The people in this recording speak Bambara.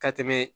Ka tɛmɛ